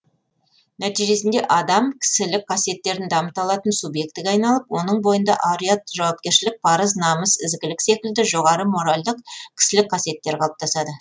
нәтижесінде адам кісілік қасиеттерін дамыта алатын субъектіге айналып оның бойында ар ұят жауапкершілік парыз намыс ізгілік секілді жоғары моральдық кісілік қасиеттер қалыптасады